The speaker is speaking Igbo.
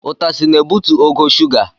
Utasị na-ebutu ogo shuga.